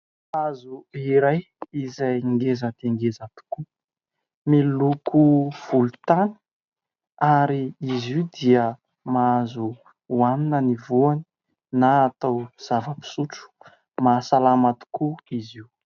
Hazo iray izay ngeza dia ngeza tokoa, miloko volotany ary izy io dia mahazo hohanina ny voany na atao zava-pisotro . Mahasalama tokoa izy io.